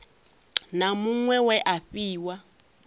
na muṅwe we a fhiwa